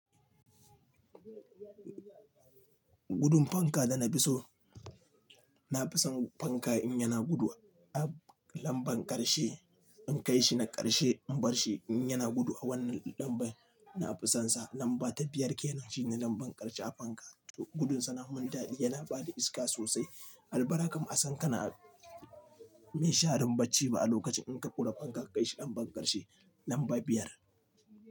Gudun fanka da na fi so. Na fi son fanka in yana gudu a lambar ƙarshe, in kai shi na ƙarshe in bar shi in yana gudu a wannan lambar, na fi son sa lamba biyar ke nan shine lambar ƙarshe a fanka. Gudun sa na mun daɗi, ya na bada iska sosai. Albarka ma a san kana minsharin bacci ba a lokacin in ka kure fanka kai shi a lambar ƙarshe lamba biyar.